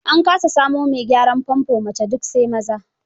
An kasa samo mai gyaran famfo mace, duk sai maza.